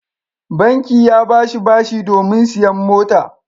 Banki ya ba shi bashi domin sayen mota.